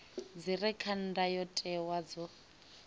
dzi re kha ndayotewa dzo